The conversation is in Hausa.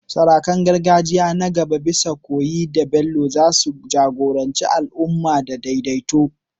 Sarakunan gargajiya na gaba, bisa koyi da Bello, za su jagoranci al’umma da daidaito